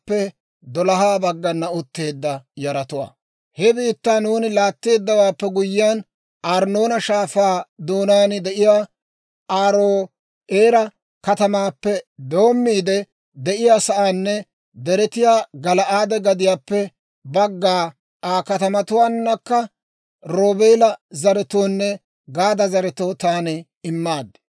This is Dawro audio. «He biittaa nuuni laatteeddawaappe guyyiyaan, Arnnoona Shaafaa doonaan de'iyaa Aaro'eera katamaappe doommiide de'iyaa sa'aanne, deretiyaa Gala'aade gadiyaappe bagga Aa katamatuwaanakka Roobeela zaretoonne Gaada zaretoo taani immaad.